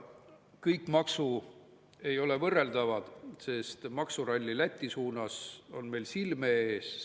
Kõik maksud ei ole võrreldavad, sest maksuralli Läti suunas on meil silme ees.